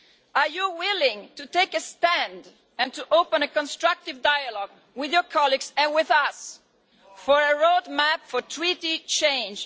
Are you willing to take a stand and to open a constructive dialogue with your colleagues and with us for a roadmap for treaty change